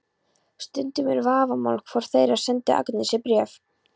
Stundum er vafamál hvor þeirra sendi Agnesi bréf.